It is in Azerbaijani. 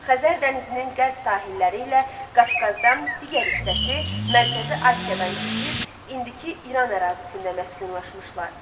Xəzər dənizinin qərb sahilləri ilə Qafqazdan digər hissəsi Mərkəzi Asiyadan keçib, indiki İran ərazisində məskunlaşmışlar.